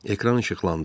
Ekran işıqlandı.